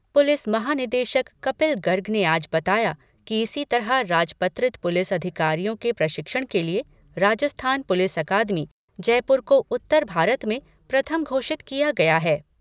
Police महानिदेशक कपिल गर्ग ने आज बताया कि इसी तरह राजपत्रित पुलिस अधिकारियों के प्रशिक्षण के लिए राजस्थान पुलिस अकादमी जयपुर को उत्तर भारत में प्रथम घोषित किया गया है।